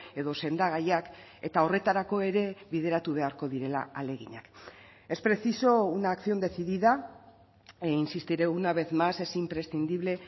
edo sendagaiak eta horretarako ere bideratu beharko direla ahaleginak es preciso una acción decidida e insistiré una vez más es imprescindible